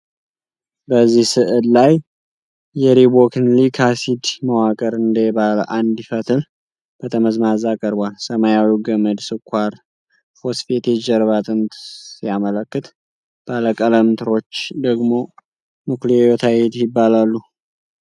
በዚህ ሥዕል ላይ የሪቦኑክሊክ አሲድ መዋቅር እንደ ባለ አንድ ፈትል ጠመዝማዛ ቀርቧል። ሰማያዊው ገመድ ስኳር-ፎስፌት የጀርባ አጥንትን ሲያመለክት፣ ባለ ቀለም ትሮች ደግሞ ኑክሊዮታይድ ይባላሉ።